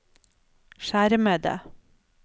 skjermede